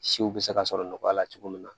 Siw bɛ se ka sɔrɔ nɔgɔya la cogo min na